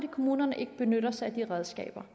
kommunerne ikke benytter sig af de redskaber